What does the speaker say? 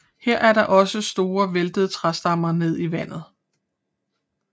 Her er der også store væltede træstammer ned i vandet